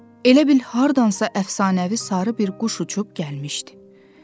Elə bil hardansa əfsanəvi sarı bir quş uçub gəlmişdi.